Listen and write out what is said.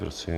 Prosím.